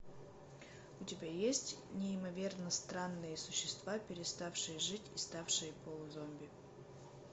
у тебя есть неимоверно странные существа переставшие жить и ставшие полузомби